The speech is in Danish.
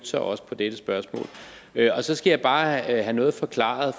sig også på dette spørgsmål så skal jeg bare have noget forklaret